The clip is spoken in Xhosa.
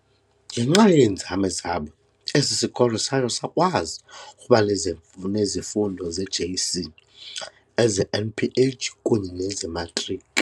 Ngenxa yeenzame zabo, esi sikolo satsho sakwazi ukubanezifundo zeJC, ezeNPH kunye nezeMatriki.